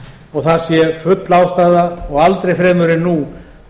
og það sé full ástæða og aldrei fremur en nú